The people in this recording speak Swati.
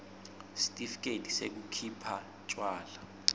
sitifiketi sekukhipha tjwala